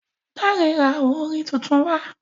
Dare rà awo orin títún wá.